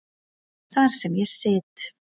Þar sem ég sit.